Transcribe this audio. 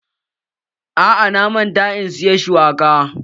A'a, na manta in siya shuwakan